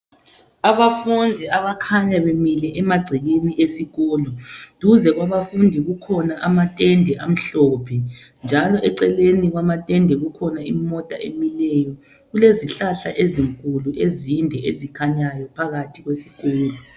Abafundi abakhanya bemile emagcekeni esikolo .Duze kwabafundi kukhona amatende amhlophe njalo eceleni kwamatende kukhona imota emileyo .Kulezihlahla ezinkulu ezinde ezikhanyayo phakathi kwesikolo